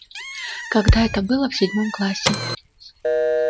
когда это было в седьмом классе